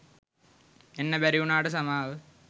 එන්න බැරි වුණාට සමාව